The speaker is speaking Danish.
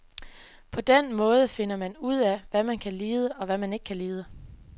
På den måde finder man ud af, hvad man kan lide og hvad man ikke kan lide.